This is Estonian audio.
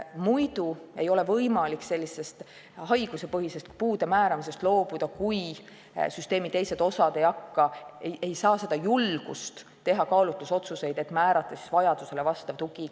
Haiguspõhisest puude määramisest ei ole võimalik loobuda, kui süsteemi teised osad ei hakka tegema või ei julge teha kaalutlusotsuseid, et määrata igale lapsele tema vajadustele vastav tugi.